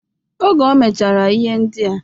Oge o mechara ihe ndịa